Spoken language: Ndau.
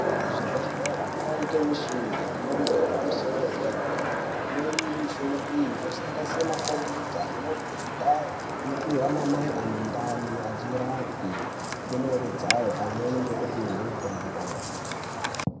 Kuzvibhedhlera kovanikwa michina yemhando yepamusoro yedera-dera. Imweni yemichina iyi inosanganise makombiyuta nemubhedha inopihwa ana mai ane ndani achirapwe ndumure dzayo, pamweni ngekupihwe mutombo.